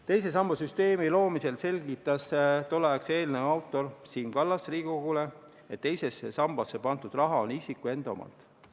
Teise samba süsteemi loomisel selgitas tolleaegse eelnõu autor Siim Kallas Riigikogule, et teise sambasse pandud raha on isiku enda omand.